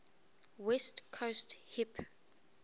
west coast hip